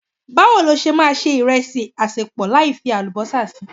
Bawo lo ṣe máa se ìrẹsì asepo láì fi Àlùbọ́sà si?